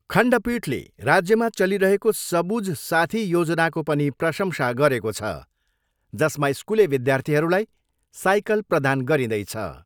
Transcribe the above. खण्डपीठले राज्यमा चलिरहेको सबुज साथी योजनाको पनि प्रशंसा गरेको छ, जसमा स्कुले विद्यार्थीहरूलाई साइकल प्रदान गरिँदैछ।